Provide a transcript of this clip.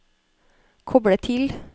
koble til